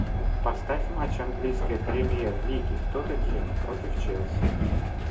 поставь матч английской премьер лиги тоттенхэма против челси